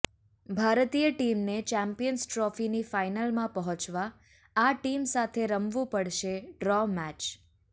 ભારતીય ટીમને ચેમ્પિયન્સ ટ્રોફીની ફાઇનલમાં પહોંચવા આ ટીમ સાથે રમવું પડશે ડ્રો મેચ